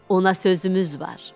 Ona sözümüz var.